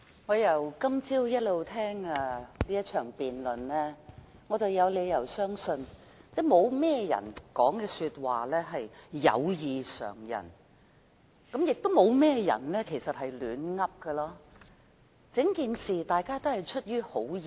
我由今早一直聽這場辯論，我有理由相信沒有甚麼人的發言異於常人，亦沒有甚麼人是亂說的，大家對整件事情也是出於好意。